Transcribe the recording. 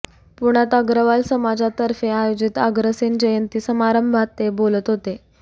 पुण्यात अग्रवाल समाजतर्फे आयोजित अग्रसेन जयंती समारंभात ते बोलत होते